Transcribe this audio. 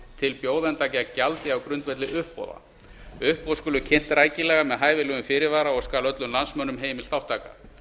til bjóðenda gegn gjaldi á grundvelli uppboða uppboð skulu kynnt rækilega með hæfilegum fyrirvara og skal öllum landsmönnum heimil þátttaka